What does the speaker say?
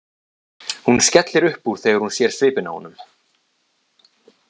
Hún skellir upp úr þegar hún sér svipinn á honum.